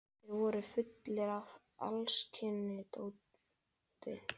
Þeir voru fullir af alls kyns dóti.